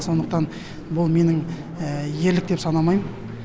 сондықтан бұл менің ерлік деп санамайм